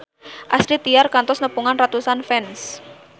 Astrid Tiar kantos nepungan ratusan fans